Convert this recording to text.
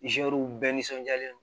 bɛɛ nisɔndiyalen don